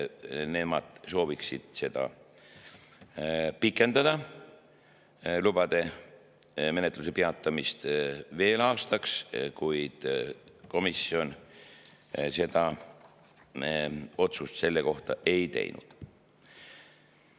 Nemad sooviksid lubade menetluse peatamist pikendada veel aastaks, kuid komisjonis me selle kohta otsust ei teinud.